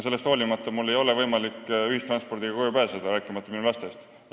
Sellest hoolimata ei ole mul võimalik ühistranspordiga kodust välja ja koju pääseda, rääkimata minu lastest.